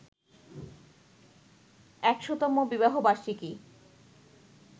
১০০তম বিবাহবার্ষিকী